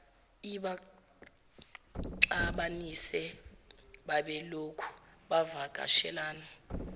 ibaxabanise babelokhu bevakashelana